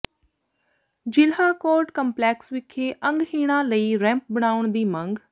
ਜ਼ਿਲ੍ਹਾ court complex ਵਿਖੇ ਅੰਗਹੀਣਾਂ ਲਈ ਰੈਂਪ ਬਣਾਉਣ ਦੀ ਮੰਗ